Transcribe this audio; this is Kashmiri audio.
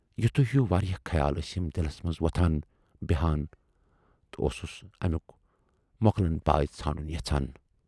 "یِتھوٕے ہِیٚو واریاہ خیال ٲسِم دِلس منز وۅتھان بیہان تہٕ اوسُس امیُک مۅکلن پاے ژھانڈُن یَژھان۔